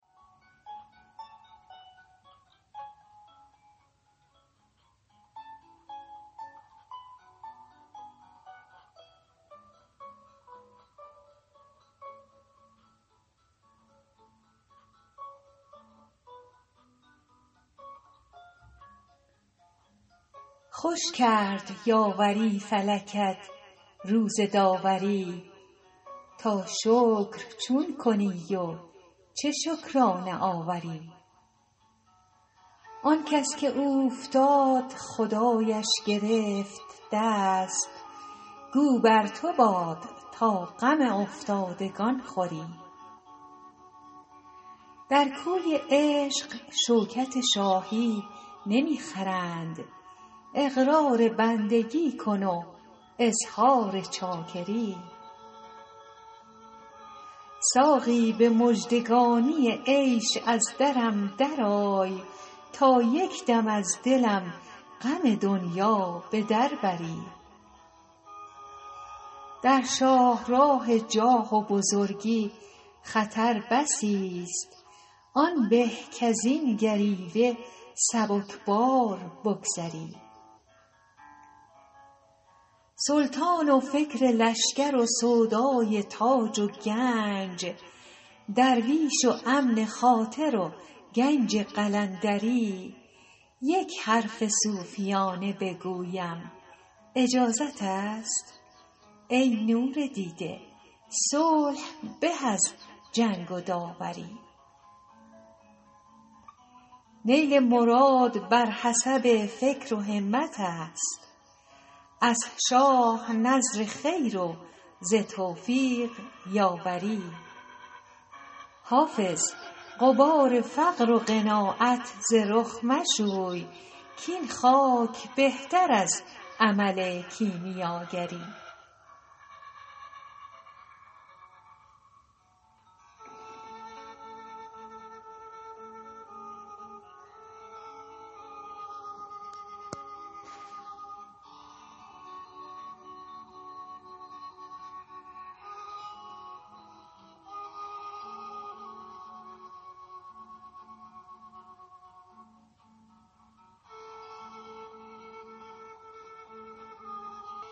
خوش کرد یاوری فلکت روز داوری تا شکر چون کنی و چه شکرانه آوری آن کس که اوفتاد خدایش گرفت دست گو بر تو باد تا غم افتادگان خوری در کوی عشق شوکت شاهی نمی خرند اقرار بندگی کن و اظهار چاکری ساقی به مژدگانی عیش از درم درآی تا یک دم از دلم غم دنیا به در بری در شاه راه جاه و بزرگی خطر بسی ست آن به کز این گریوه سبک بار بگذری سلطان و فکر لشکر و سودای تاج و گنج درویش و امن خاطر و کنج قلندری یک حرف صوفیانه بگویم اجازت است ای نور دیده صلح به از جنگ و داوری نیل مراد بر حسب فکر و همت است از شاه نذر خیر و ز توفیق یاوری حافظ غبار فقر و قناعت ز رخ مشوی کاین خاک بهتر از عمل کیمیاگری